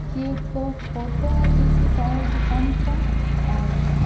ये एक फोटो है किसी टायर दुकान का और--